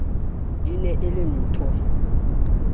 e ne e le nthho